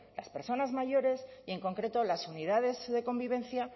las personas mayores y en concreto las unidades de convivencia